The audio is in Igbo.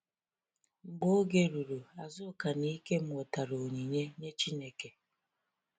Mgbe oge ruru, Azuka na Ikem wetara onyinye nye Chineke.